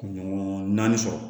Ɲɔgɔn naani sɔrɔ